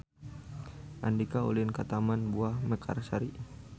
Andika ulin ka Taman Buah Mekarsari